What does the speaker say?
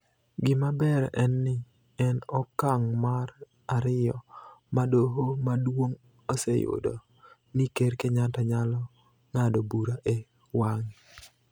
Gima ber en ni, en okang� mar ariyo ma Doho Maduong� oseyudo ni Ker Kenyatta nyalo ng�ado bura e wang�e.